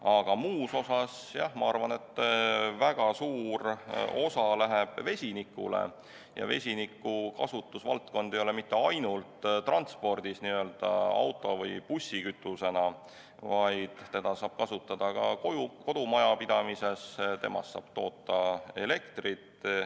Aga muus osas, jah, ma arvan, et väga suur osa läheb üle vesinikule ning vesiniku kasutusvaldkond ei ole mitte ainult transpordis, n-ö auto- või bussikütusena, vaid seda saab kasutada ka kodumajapidamises, sellest saab toota elektrit.